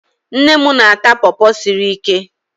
Nne m na-ata pọọpọ siri ike.